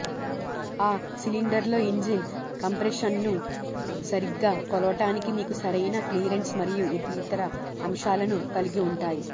ఆ సిలిండర్లో ఇంజిన్ కంప్రెషన్ను సరిగ్గా కొలవటానికి మీకు సరైన క్లియరెన్స్ మరియు ఇతర అంశాలను కలిగివుంటాయి